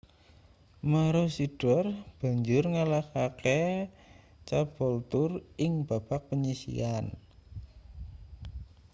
maroochydore banjur ngalahake caboolture ing babak panyisihan